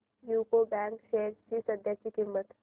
UCO bank shares ची सध्याची किंमत